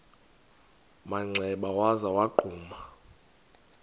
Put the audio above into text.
manxeba waza wagquma